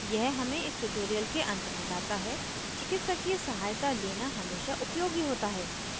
यह इस tutorial के अंत में लता है चिकित्सकीय सहायता लेना हमेशा उपयोगी होता है